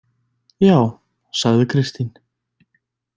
Ja, sagði Kristín.